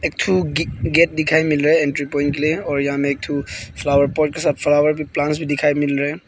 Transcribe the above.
एक ठो गेट दिखाई मिल रहे हैं एंट्री प्वाइंट के लिए और यहां में एक ठो फ्लावर पॉट के साथ फ्लावर भी प्लांट्स भी दिखाई मिल रहे हैं।